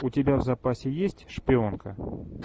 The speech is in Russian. у тебя в запасе есть шпионка